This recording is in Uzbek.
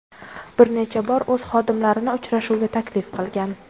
bir necha bor o‘z xodimlarini uchrashuvga taklif qilgan.